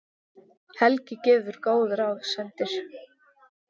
Helgi gefur góð ráð, sendir